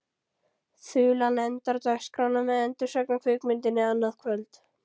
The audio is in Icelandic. Þulan endar dagskrána með endursögn á kvikmyndinni annað kvöld.